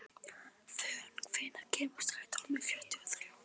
Fönn, hvenær kemur strætó númer fjörutíu og þrjú?